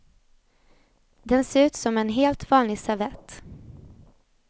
Den ser ut som en helt vanlig servett.